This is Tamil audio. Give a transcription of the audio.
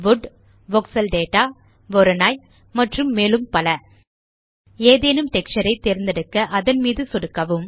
வுட் வோக்ஸெல் டேட்டா வொரோனோய் மற்றும் மேலும் பல ஏதேனும் டெக்ஸ்சர் ஐ தேர்ந்தெடுக்க அதன் மீது சொடுக்கவும்